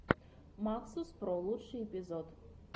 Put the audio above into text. максус про лучший эпизод